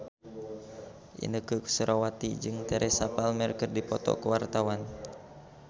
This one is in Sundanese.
Inneke Koesherawati jeung Teresa Palmer keur dipoto ku wartawan